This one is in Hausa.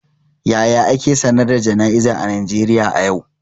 Yaya ake sanar da jana'izar a Najeriya a yau?